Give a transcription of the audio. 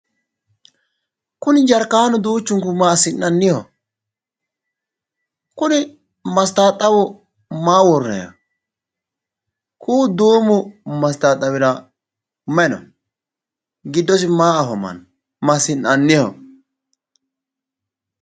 Kuni jarkaanu duuchunku massinanniho? kuni masitaattabu maa worrannayho? ku'u duumu masittattabira may no? Giddosi may afammanno? massinanniho?